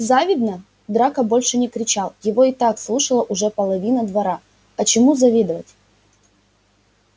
завидно драко больше не кричал его и так слушала уже половина двора а чему завидовать